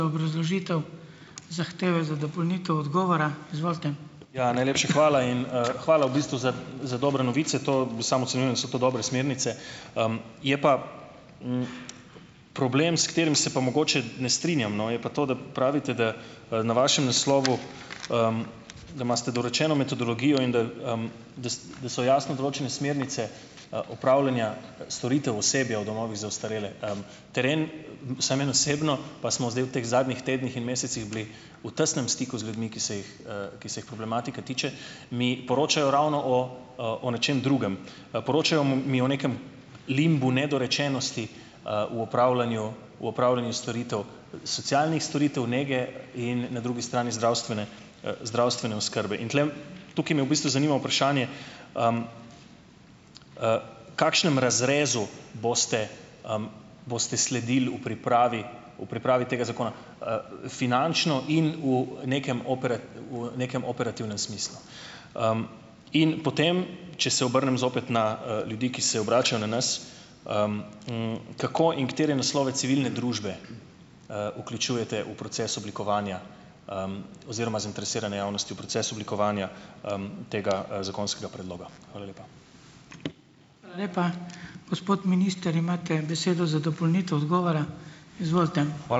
Ja, najlepša hvala in, hvala v bistvu za za dobre novice. To samo ocenjujem, da so to dobre smernice. Je pa, problem, s katerim se pa mogoče ne strinjam, no, je pa to, da pravite, da, na vašem naslovu, da imate dorečeno metodologijo in da, da da so jasno določene smernice, opravljanja, storitev osebja v domovih za ostarele. Teren, vsaj meni osebno, pa smo zdaj v teh zadnjih tednih in mesecih bili v tesnem stiku z ljudmi, ki se jih, ki se jih problematika tiče, mi poročajo ravno o, o nečem drugem. Poročajo mi o nekem limbu nedorečenosti, v opravljanju v opravljanju storitev, socialnih storitev, nege in na drugi strani zdravstvene, zdravstvene oskrbe. In tule tukaj me v bistvu zanima vprašanje, kakšnem razrezu boste, boste sledili v pripravi v pripravi tega zakona? Finančno in v nekem v nekem operativnem smislu. In potem, če se obrnem zopet na, ljudi, ki se obračajo na nas, kako in katere naslove civilne družbe, vključujete v proces oblikovanja, oziroma zainteresirane javnosti, v proces oblikovanja, tega, zakonskega predloga? Hvala lepa.